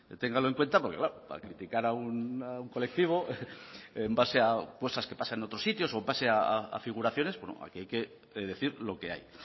téngalo en cuenta porque claro para criticar a un colectivo en base a cosas que pasan en otros sitios o en base a figuraciones bueno aquí hay que decir lo que hay